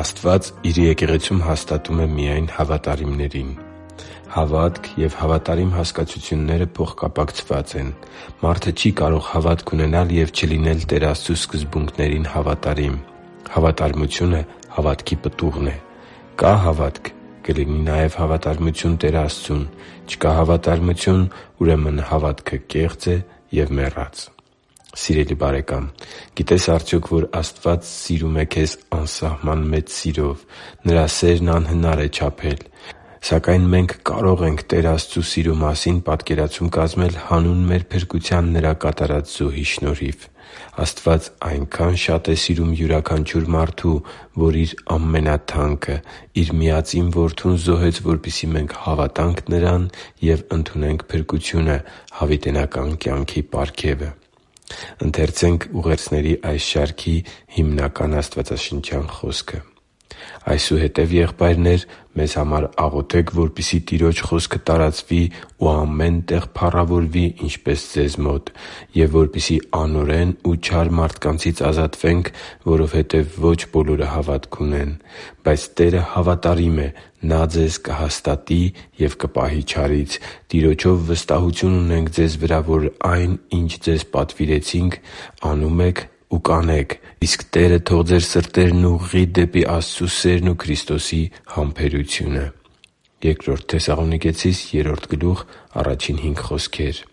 Աստված Իր Եկեղեցում հաստատում է միայն հավատարիմներին Հավատք և հավատարիմ հասկացությունները փոխկապակցված են։ Մարդը չի կարող հավատք ունենալ և չլինել Տեր Աստծու սկզբունքներին հավատարիմ։ Հավատարմությունը հավատքի պտուղն է։ Կա՞ հավատք, կլինի նաև հավատարմություն Տեր Աստծուն։ Չկա՞ հավատարմություն, ուրեմն հավատքը կեղծ է և մեռած։ Սիրելի՛ բարեկամ, գիտե՞ս արդյոք, որ Աստված սիրում է քեզ անսահման մեծ սիրով։ Նրա սերն անհնար է չափել։ Սակայն մենք կարո՛ղ ենք Տեր Աստծու սիրո մասին պատկերացում կազմել հանուն մեր փրկության Նրա կատարած զոհի շնորհիվ։ Աստված այնքա՜ն շատ է սիրում յուրաքանչյուր մարդու, որ Իր ամենաթանկը՝ Իր միածին Որդուն զոհեց, որպեսզի մենք հավատանք Նրան և ընդունենք փրկությունը՝ հավիտենական կյանքի պարգևը։ «Այսուհետև, եղբայրնե՛ր, մեզ համար աղոթե՛ք, որպեսզի Տիրոջ խոսքը տարածվի ու ամեն տեղ փառավորվի, ինչպես ձեզ մոտ, և որպեսզի անօրեն ու չար մարդկանցից ազատվենք, որովհետև ոչ բոլորը հավատ ունեն։ Բայց Տերը հավատարիմ է. Նա ձեզ կհաստատի և կպահի չարից։ Տիրոջով վստահություն ունենք ձեզ վրա, որ այն, ինչ ձեզ պատվիրեցինք, անում եք ու կանեք։ Իսկ Տերը թող ձեր սրտերը ուղղի դեպի Աստծու սերն ու Քրիստոսի համբերությունը» (Բ Թեսաղոնիկեցիս 3.1-5)։